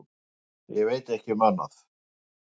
Ég veit ekki um annað.